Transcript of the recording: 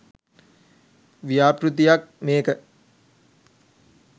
ව්‍යාපෘතියක් මේක.